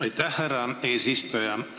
Aitäh, härra eesistuja!